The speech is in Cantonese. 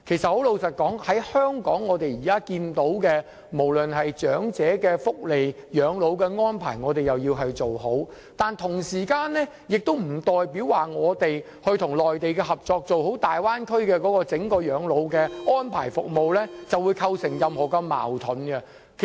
坦白說，香港現時要做好長者的福利、養老安排，但不代表這會對我們與內地合作做好大灣區整個養老的安排服務構成任何矛盾。